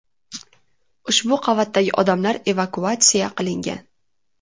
Ushbu qavatdagi odamlar evakuatsiya qilingan.